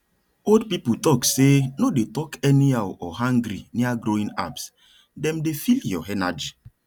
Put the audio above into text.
old people talk say no dey talk anyhow or angry near growing herbsdem dey feel your energy